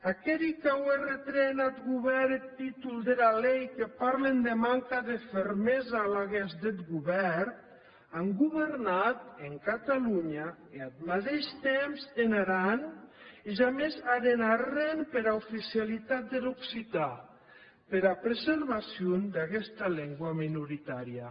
aqueri qu’aué retrèn ath govèrn eth títol dera lei que parlen de manca de fermesa laguens deth govèrn an governat en catalonha e ath madeish temps en aran e jamès heren arren pera oficialitat der occitan pera preservacion d’aguesta lengua minoritària